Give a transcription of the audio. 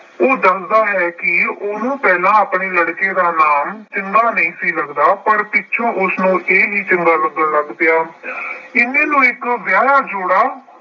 ਉਹ ਦੱਸਦਾ ਹੈ ਕਿ ਉਹਨੂੰ ਪਹਿਲਾ ਆਪਣੇ ਲੜਕੇ ਦਾ ਨਾਮ ਚੰਗਾ ਨਹੀਂ ਸੀ ਲੱਗਦਾ ਪਰ ਪਿੱਛੋਂ ਉਸਨੂੰ ਇਹ ਵੀ ਚੰਗਾ ਲੱਗਣ ਲੱਗ ਪਿਆ। ਇੰਨੇ ਨੂੰ ਇਕ ਵਿਆਹਿਆ ਜੋੜਾ